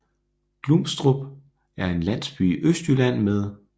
Grumstrup er en landsby i Østjylland med